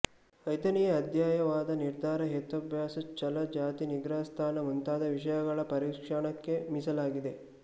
ಐದನೆಯ ಅಧ್ಯಾಯ ವಾದ ನಿರ್ಧಾರ ಹೇತ್ವಾಭಾಸಗಳ ಛಲ ಜಾತಿ ನಿಗ್ರಹಸ್ಥಾನ ಮುಂತಾದ ವಿಷಯಗಳ ಪರೀಕ್ಷಣಕ್ಕೆ ಮೀಸಲಾಗಿದೆ